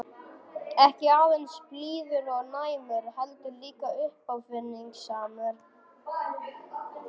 Ekki aðeins blíður og næmur- heldur líka uppáfinningasamur.